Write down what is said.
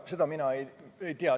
Seda mina ei tea.